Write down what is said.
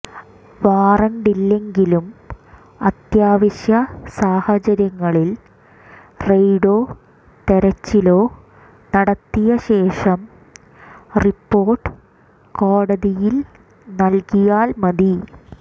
വാറണ്ടില്ലെങ്കിലും അത്യാവശ്യ സാഹചര്യങ്ങളിൽ റെയ്ഡോ തെരച്ചിലോ നടത്തിയ ശേഷം റിപ്പോർട്ട് കോടതിയിൽ നൽകിയാൽ മതി